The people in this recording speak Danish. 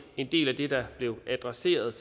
en del af det der blev adresseret